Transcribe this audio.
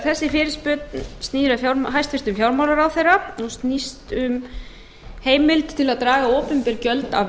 þessi fyrirspurn snýr að hæstvirtur fjármálaráðherra hún snýst um heimild til að draga opinber gjöld af